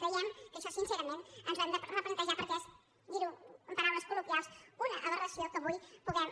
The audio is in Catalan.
creiem que això sincerament ens ho hem de replantejar perquè és dir ho amb paraules coluna aberració que avui puguem